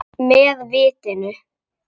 Með vitinu.